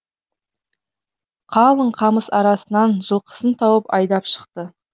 қалың қамыс арасынан жылқысын тауып айдап шықты